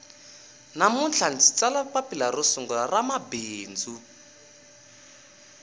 namuntlha ndzi tsala papila ro sungula ra mabindzu